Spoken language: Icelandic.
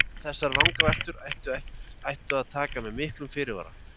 En þessar vangaveltur ætti að taka með miklum fyrirvara.